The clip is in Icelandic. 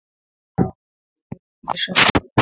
Sá ekki inn fyrir svört glerin.